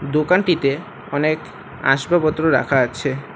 দোকানটিতে অনেক আসবাবপত্র রাখা আছে।